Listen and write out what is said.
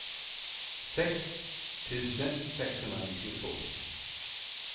sex tusen sexhundranittiotvå